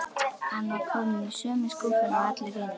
Hann var kominn í sömu skúffuna og allir hinir.